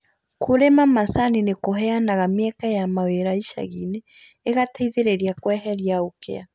Kũrĩma macani nĩ kũheanaga mĩeke ya mawĩra ishagiinĩ ĩgateithĩrĩria kweheria ũkia